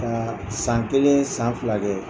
Ka san kelen san fila kɛ.